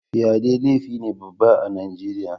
Fyaɗe laifi ne Baba ah Nijeriya.